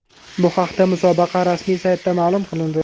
Bu haqda musobaqa rasmiy saytida ma’lum qilindi .